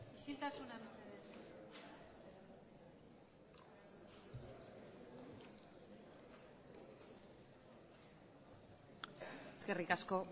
eskerrik asko